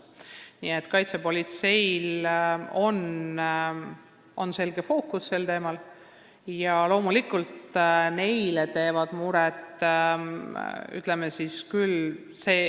Nii et kaitsepolitseil on selle teemaga tegelemisel olemas selge fookus.